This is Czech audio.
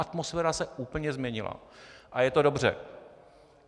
Atmosféra se úplně změnila a je to dobře.